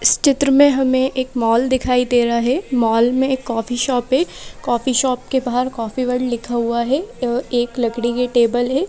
इस चित्र में हमें एक मॉल दिखाई दे रहा है मॉल में एक कॉफी शॉप है कॉफी शॉप के बाहर कॉफी वर्ड लिखा हुआ है एक लकड़ी की टेबल है।